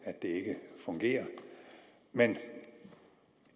at det ikke fungerer men